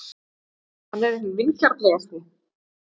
Hann er hinn vingjarnlegasti.